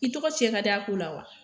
I tɔgɔ tiɲɛ ka d'a ko la wa?